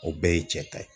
O bɛɛ ye cɛ ta ye